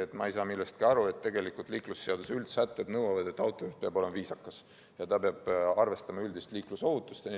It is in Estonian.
et ma ei saa millestki aru ja et tegelikult liiklusseaduse üldsätted nõuavad, et autojuht peab olema viisakas ja arvestama üldist liiklusohutust.